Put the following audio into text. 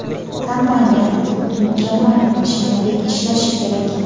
Kompaniya – xuddi mukammal mashinadek ishlashi kerak.